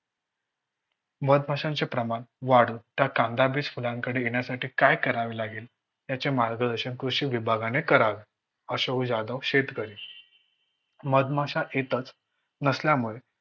मधमाशांचे प्रमाण वाढून तर कांदाबीज फुलांकडे येण्यासाठी काय करावे लागेल. याचे मार्गदर्शन कृषी विभागाने करावे. अशोक जाधव शेतकरी मधमाशा येतच नसल्यामुळे